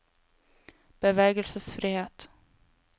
bevegelsesfrihet